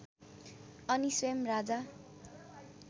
अनि स्वयम् राजा